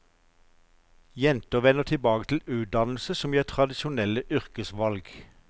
Jenter vender tilbake til utdannelse som gir tradisjonelle yrkesvalg.